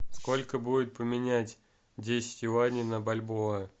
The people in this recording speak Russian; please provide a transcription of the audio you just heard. сколько будет поменять десять юаней на бальбоа